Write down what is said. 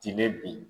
Tinɛ bin